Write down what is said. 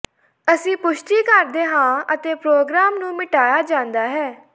ਅਸੀਂ ਪੁਸ਼ਟੀ ਕਰਦੇ ਹਾਂ ਅਤੇ ਪ੍ਰੋਗਰਾਮ ਨੂੰ ਮਿਟਾਇਆ ਜਾਂਦਾ ਹੈ